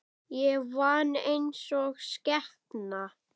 Ég vann einsog skepna.